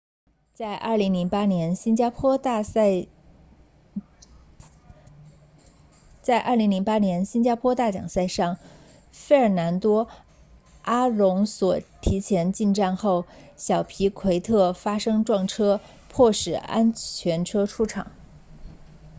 在2008年新加坡大奖赛上费尔南多阿隆索提前进站后小皮奎特发生撞车迫使安全车出场